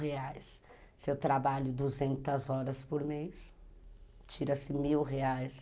Se eu trabalho duzentas horas por mês, tira-se mil reais.